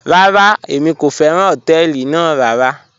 Rárá, èmi kò fẹ́ràn họ̀tẹ̀ẹlì ná rárá..